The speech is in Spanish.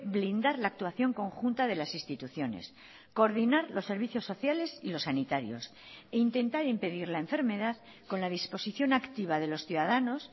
blindar la actuación conjunta de las instituciones coordinar los servicios sociales y los sanitarios e intentar impedir la enfermedad con la disposición activa de los ciudadanos